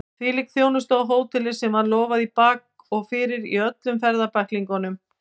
Hvílík þjónusta á hóteli sem var lofað í bak og fyrir í öllum ferðabæklingum!